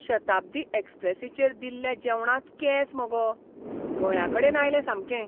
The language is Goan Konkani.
शताब्दी एक्स्प्रेसीचेर दिल्ल्या जेवणांत केंस मगो. गळ्याकडेन आयलें सामकें.